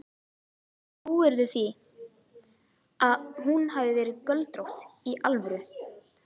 Trúirðu því að hún hafi verið göldrótt. í alvöru?